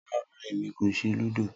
Rara, Emi ko ṣe ludo